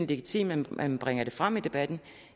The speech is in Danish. legitimt at man bringer det frem i debatten